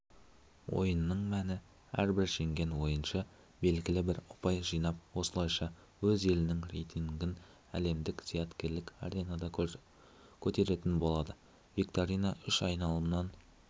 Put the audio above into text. ойынның мәні әрбір жеңген ойыншы белгілі бір ұпай жинап осылайша өз елінің рейтингін әлемдік зияткерлік аренада көтеретін болады викторина үш айналымнан